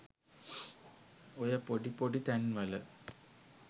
ඔය පොඩි පොඩි තැන්වල